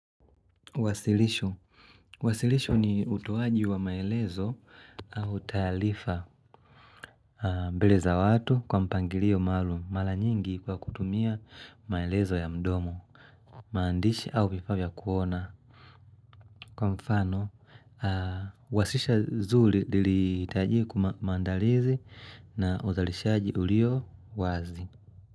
Wasilisho. Wasilisho ni utoaji wa maelezo au taarifa mbele za watu kwa mpangilio maalum mara nyingi kwa kutumia maelezo ya mdomo maandishi au vifaa vya kuona Kwa mfano, wasisha zuli litajie kumandalizi na uzalishaji ulio wazi.